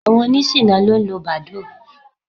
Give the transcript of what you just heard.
Àwọn oníṣìná ló ń lo Badoo.